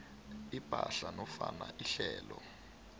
ipahla nofana ihlelo